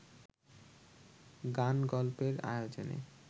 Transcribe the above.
গান-গল্পের আয়োজনে